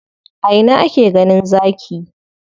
A ina ake ganin Zaki?